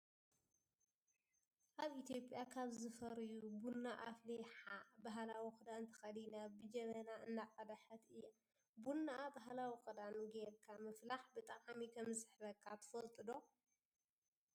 ኣብ ኢትዮጵያ ካብ ዝፈርዩ ቡና ኣፍሊሓ ባህላዊ ክዳን ተከዲና ብጀበና እንዳቀደሓት እያ። ቡና ባህላዊ ክዳን ገርካ ምፍላሕ ብጣዕሚ ከምዝስሕበካ ትፈልጡ ዶ?